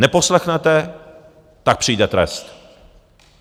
Neposlechnete, tak přijde trest!